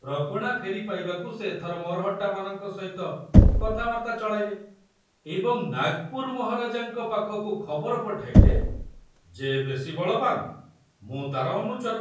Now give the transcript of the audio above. ପ୍ରଗଣା ଫେରି ପାଇବାକୁ ସେ ଏଥର ମରହଟ୍ଟାମାନଙ୍କ ସହିତ କଥାବାର୍ତ୍ତା ଚଳାଇଲେ ଏବଂ ନାଗପୁର ମହାରାଜାଙ୍କ ପାଖକୁ ଖବର ପଠାଇଲେ, ଯେ ବେଶି ବଳବାନ, ମୁଁ ତାର ଅନୁଚର।